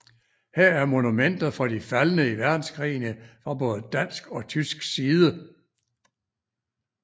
Her er monumenter for de faldne i verdenskrigene fra både dansk og tysk side